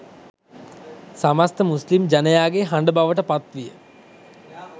සමස්ථ මුස්ලිම් ජනයාගේ හඬ බවට පත්විය